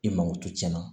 I mago to tiɲɛna